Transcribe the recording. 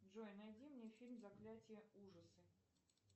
джой найди мне фильм заклятие ужасы